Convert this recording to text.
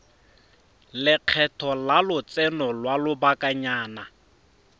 lekgetho la lotseno lwa lobakanyana